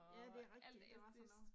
Ja det er rigtigt der var sådan noget